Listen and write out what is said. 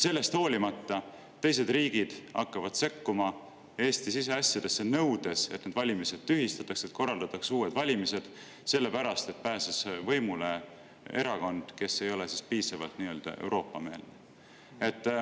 Sellest hoolimata teised riigid hakkavad sekkuma Eesti siseasjadesse, nõudes, et need valimised tühistataks ja korraldataks uued valimised, sellepärast et pääses võimule erakond, kes ei ole piisavalt Euroopa-meelne.